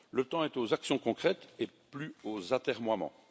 Le temps est aux actions concrètes et plus aux atermoiements.